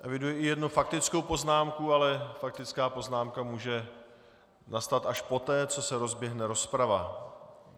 Eviduji i jednu faktickou poznámku, ale faktická poznámka může nastat až poté, co se rozběhne rozprava.